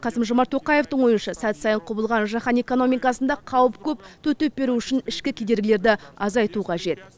қасым жомарт тоқаевтың ойынша сәт сайын құбылған жаһан экономикасында қауіп көп төтеп беру үшін ішкі кедергілерді азайту қажет